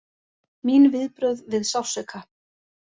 Mín viðbrögð við sársauka!